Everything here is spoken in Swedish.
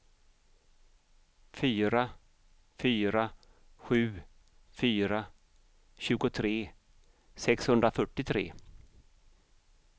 fyra fyra sju fyra tjugotre sexhundrafyrtiotre